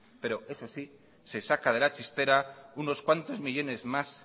pero eso sí se saca de la chistera unos cuantos millónes más